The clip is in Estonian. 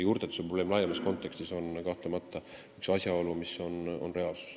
Juurtetuse probleem laiemas kontekstis on kahtlemata üks reaalne asjaolu.